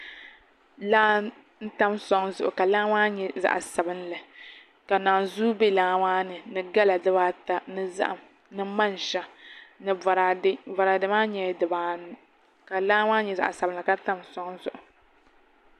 Laa n tam soŋ zuɣi ka laa maa nyɛ zaɣ sabinli ka naanzuu bɛ laa maa ni ni gala dibaata ni zaham ni manʒa ni boraadɛ boraadɛ maa nyɛla dibaanu ka laa nyɛ zaɣ sabinli ka tam soŋ zuɣu